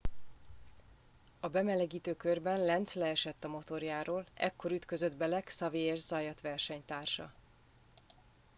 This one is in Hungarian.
a bemelegítő körben lenz leesett a motorjáról ekkor ütközött bele xavier zayat versenytársa